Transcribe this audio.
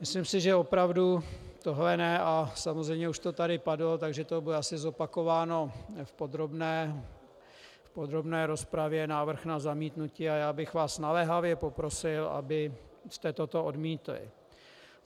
Myslím si, že opravdu tohle ne, a samozřejmě už to tady padlo, takže to bude asi zopakováno v podrobné rozpravě, návrh na zamítnutí, a já bych vás naléhavě poprosil, abyste toto odmítli.